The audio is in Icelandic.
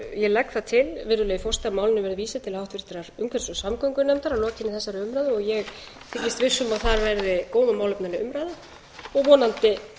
ég legg það til virðulegi forseti að málinu verði vísað til háttvirtrar umhverfis og samgöngunefndar að lokinni þessari umræðu og ég þykist viss um að þar verði góð og málefnaleg umræða og vonandi